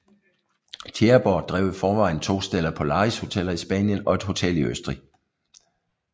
Tjæreborg drev i forvejen to Stella Polaris hoteller i Spanien og et hotel i Østrig